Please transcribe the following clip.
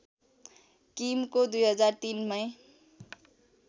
किमको २००३ मै